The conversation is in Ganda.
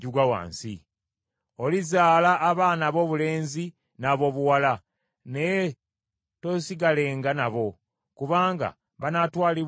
Olizaala abaana aboobulenzi n’aboobuwala, naye toosigalenga nabo, kubanga banaatwalibwanga mu busibe.